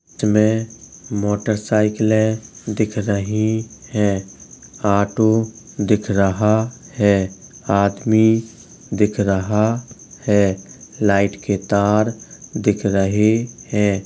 इसमें मोटर साईकिलें दिख रही हैं। ऑटो दिख रहा है। आदमी दिख रहा है। लाइट के तार दिख रहे हैं।